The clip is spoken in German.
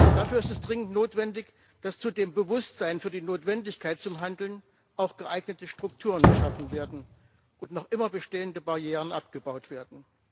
Dafür ist es dringend notwendig, dass zu dem Bewusstsein für die Notwendigkeit zum Handeln auch geeignete Strukturen geschaffen und noch immer bestehende Barrieren abgebaut werden.